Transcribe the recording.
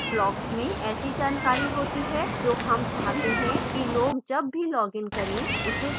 blocks में ऐसी जानकारी होती है जो हम चाहते हैं कि log जब भी log इन करें उसे देखें